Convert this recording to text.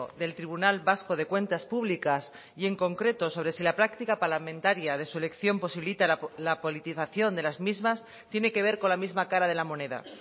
del tribunal vasco de cuentas públicas y en concreto sobre si la práctica parlamentaria de su elección posibilita la politización de las mismas tiene que ver con la misma cara de la moneda